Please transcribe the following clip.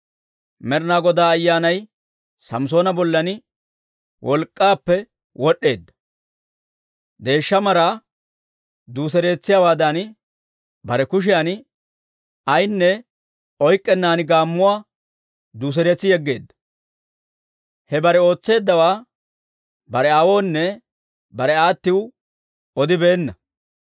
Med'inaa Godaa Ayyaanay Samssoona bollan wolk'k'aappe wod'd'eedda; deeshsha maraa duuseretsiyaawaadan, bare kushiyan ayaanne oyk'k'ennan gaammuwaa duuseretsi yegeedda. He bare ootseeddawaa bare aawoonne bare aattiw odibeenna.